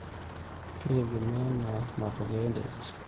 keitegemea ena te matokeo enterit